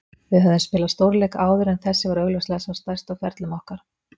Við höfðum spilað stórleiki áður en þessi var augljóslega sá stærsti á ferlum okkar.